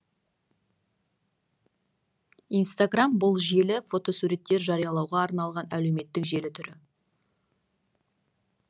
инстаграм бұл желі фотосуреттер жариялауға арналған әлеуметтік желі түрі